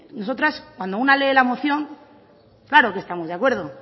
nosotras cuando una lee la moción claro que estamos de acuerdo